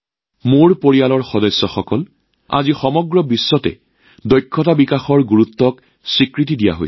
মোৰ পৰিয়ালৰ সদস্যসকল আজিকালি দক্ষতা বিকাশৰ গুৰুত্ব সমগ্ৰ বিশ্বতে গ্ৰহণযোগ্যতা বিচাৰি পাইছে